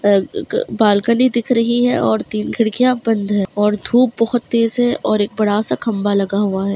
अ-क balcony दिख रही है और तीन खिड़कियाँ बंद हैं और धूप बोहत तेज़ है और एक बड़ा-सा खम्बा लगा हुआ है।